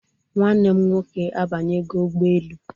Nwanne m nwoke abanyego ụgbọelu